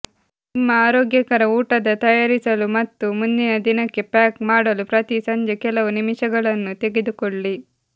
ನಿಮ್ಮ ಆರೋಗ್ಯಕರ ಊಟದ ತಯಾರಿಸಲು ಮತ್ತು ಮುಂದಿನ ದಿನಕ್ಕೆ ಪ್ಯಾಕ್ ಮಾಡಲು ಪ್ರತಿ ಸಂಜೆ ಕೆಲವು ನಿಮಿಷಗಳನ್ನು ತೆಗೆದುಕೊಳ್ಳಿ